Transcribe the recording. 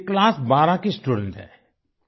ये क्लास बारह 12th की स्टूडेंट है